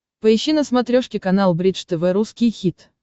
поищи на смотрешке канал бридж тв русский хит